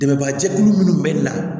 Dɛmɛba jɛkulu munnu be na